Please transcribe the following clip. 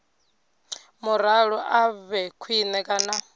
muraḓo a vhe khwine kana